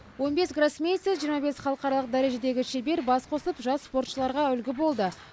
он бес гроссмейстер жиырма бес халықаралық дәрежедегі шебер бас қосып жас спортшыларға үлгі болды